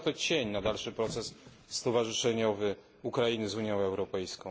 Rzuca to cień na dalszy proces stowarzyszeniowy Ukrainy z Unią Europejską.